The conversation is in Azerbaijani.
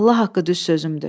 Allah haqqı düz sözümdür.